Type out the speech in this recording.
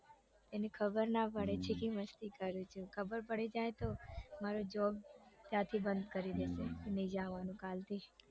એને ખબર ના પાડે છે કે હું મસ્તી કરું છું ખબર પડી જાય તો મારો job ત્યાંથી બંધ કરી દેશે કે નઈ આવાનું કાલથી